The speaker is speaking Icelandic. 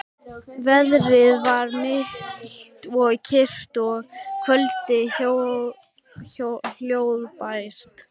Veðrið var milt og kyrrt og kvöldið hljóðbært.